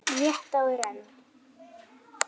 Rétt áður en